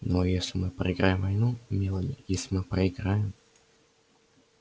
ну а если мы проиграем войну мелани если мы проиграем